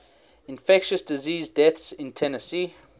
infectious disease deaths in tennessee